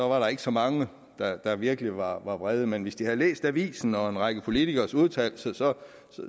var der ikke så mange der virkelig var vrede men hvis de havde læst avisen og en række politikeres udtalelser